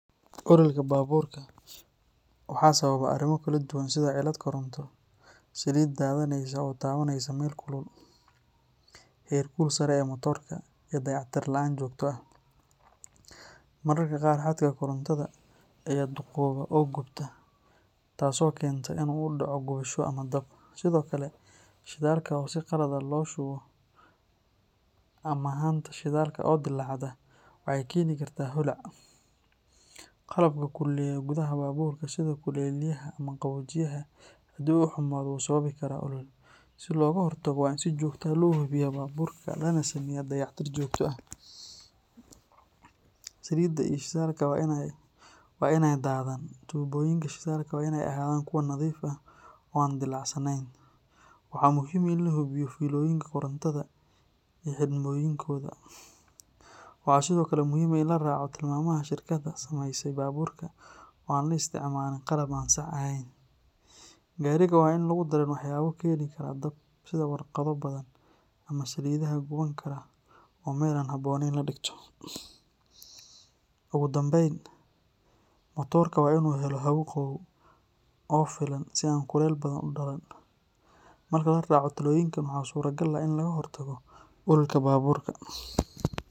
Ololka baabuurka waxa sababa arrimo kala duwan sida cilad koronto, saliid daadanaysa oo taabanaysa meel kulul, heerkul sare ee matoorka, iyo dayactir la’aan joogto ah. Mararka qaar xadhkaha korontada ayaa duugooba oo gubta, taasoo keenta in uu dhaco gubasho ama dab. Sidoo kale, shidaalka oo si qalad ah loo shubo ama haanta shidaalka oo dillaacda waxay keeni kartaa holac. Qalabka kululeeya gudaha baabuurka sida kulayliyaha ama qaboojiyaha haddii uu xumaado wuu sababi karaa olol. Si looga hortago, waa in si joogto ah loo hubiyaa baabuurka lana sameeyaa dayactir joogto ah. Saliidda iyo shidaalka waa in aanay daadan, tuubooyinka shidaalka waa in ay ahaadaan kuwo nadiif ah oo aan dillaacsanayn, waxaana muhiim ah in la hubiyo fiilooyinka korontada iyo xidhmooyinkooda. Waxaa sidoo kale muhiim ah in la raaco tilmaamaha shirkadda samaysay baabuurka oo aan la isticmaalin qalab aan sax ahayn. Gaariga waa in aan lagu darin waxyaabo keeni kara dab sida warqado badan ama saliidaha guban kara oo meel aan ku habboonayn la dhigto. Ugu dambayn, matoorka waa in uu helo hawo qabow oo filan si aan kulayl badan u dhalan. Marka la raaco talooyinkan waxa suurtagal ah in laga hortago ololka baabuurka.